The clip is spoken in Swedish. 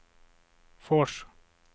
Fors